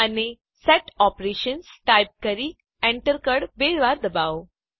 અને set Operations type કરી Enter કળ બે વાર દબાવો